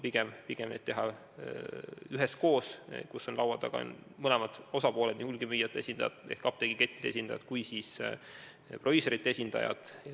Pigem on mõistlik teha neid üheskoos, kui laua taga on mõlemad osapooled, nii hulgimüüjate esindajad ehk apteegikettide esindajad kui ka proviisorite esindajad.